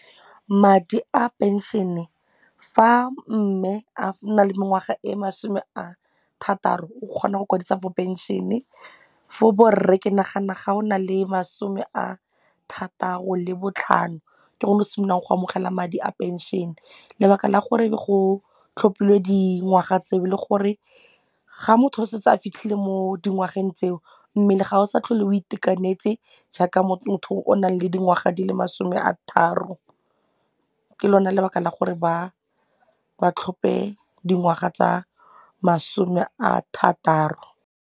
Madi a pension-e e fa mme a na le mengwaga e masome a thataro o kgona go kwadisa for pension-e, fo borre ke nagana ga o na le masome a thataro le botlhano ke gone go simololang go amogela madi a pension. Lebaka la go tlhophilwe dingwaga tseo e le gore ga motho o setse a fitlhile mo dingwageng tseo mmele ga o sa tlhole le o itekanetse jaaka motho o nang le dingwaga di le masome a thataro ke lona lebaka la gore ba tlhophe dingwaga tsa masome a thataro.